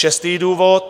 Šestý důvod.